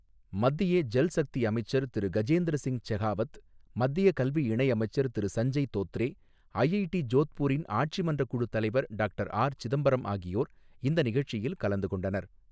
மத்திய ஜல் சக்தி அமைச்சர் திரு கஜேந்திர சிங் செகாவத், மத்திய கல்வி இணை அமைச்சர் திரு சஞ்சய் தோத்ரே, ஐஐடி ஜோத்பூரின் ஆட்சி மன்ற குழு தலைவர் டாக்டர் ஆர் சிதம்பரம் ஆகியோர் இந்த நிகழ்ச்சியில் கலந்துகொண்டனர்.